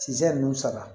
Sizan nunnu sara